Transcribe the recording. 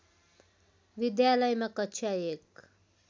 विद्यालयमा कक्षा १